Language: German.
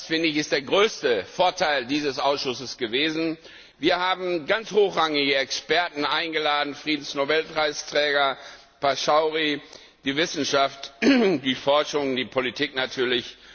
Das ist der größte Vorteil dieses Ausschusses gewesen. Wir hatten ganz hochrangige Experten eingeladen Friedensnobelpreisträger Pachauri, die Wissenschaft, die Forschung, die Politik natürlich.